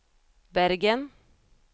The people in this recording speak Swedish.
Bergen